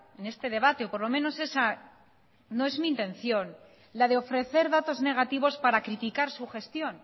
en este debate o por lo menos esa no es mi intención la de ofrecer datos negativos para criticar su gestión